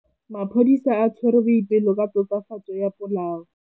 Maphodisa a tshwere Boipelo ka tatofatsô ya polaô.